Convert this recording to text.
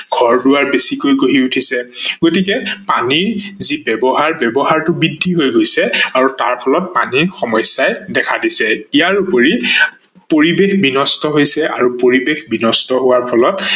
ঘৰ-দোৱাৰ বেছিকৈ গঢ়ি উঠিছে গতিকে পানীৰ যি ব্যৱহাৰ ব্যৱহাৰটো বৃদ্ধি হৈ গৈছে আৰু তাৰ ফলত পানীৰ সমস্যাই দেখা দিছে ।ইয়াৰোপৰি পৰিবেশ বিনষ্ট হৈছে আৰু পৰিবেশ বিনষ্ট হোৱাৰ ফলত